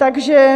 Takže